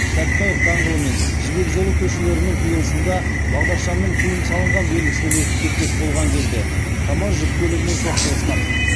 сәтбаев даңғылымен жібек жолы көшелерінің қиылысында бағдаршамның тыйым салынған белгісінен өтіп кетпек боллған кезде камаз жүк көлігімен соқтығысқан